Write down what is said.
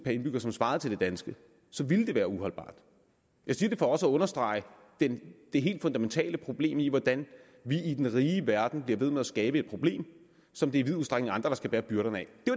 co indbygger som svarede til det danske så ville det være uholdbart jeg siger det for også at understrege det helt fundamentale problem i hvordan vi i den rige verden bliver ved med at skabe et problem som det i vid udstrækning er andre der skal bære byrderne af